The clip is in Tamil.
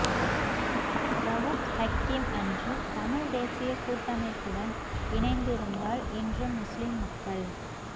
ரவூப் ஹக்கீம் அன்று தமிழ் தேசியக் கூட்டமைப்புடன் இணைந்திருந்தால் இன்று முஸ்லிம் மக்கள்